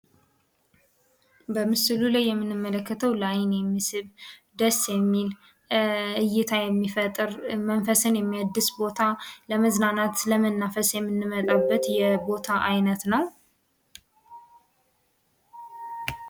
በምሥሉ ላይ የምንመለከተው ለአይን የሚስብ ደስ የሚል እይታ የሚፈጥር መንፈስን የሚያድስ ቦታ ለመዝናናት፣ ለመናፈስ የምንመጣበት የቦታ ዓይነት ነው።